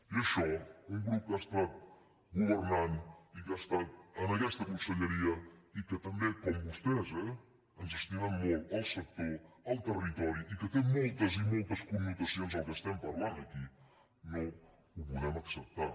i ai·xò un grup que ha estat governant i que ha estat en aquesta conselleria i que també com vostès eh ens estimem molt el sector el territori i que té moltes i moltes connotacions el que estem parlant aquí no ho podem acceptar